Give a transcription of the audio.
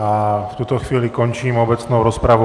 A v tuto chvíli končím obecnou rozpravu.